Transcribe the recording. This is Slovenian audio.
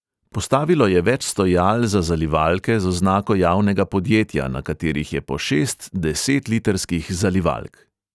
Postavilo je več stojal za zalivalke z oznako javnega podjetja, na katerih je po šest desetlitrskih zalivalk.